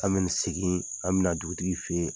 An ka segin an ka na dugutigi fɛ yen.